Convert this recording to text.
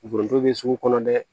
Foronto bɛ sugu kɔnɔ dɛ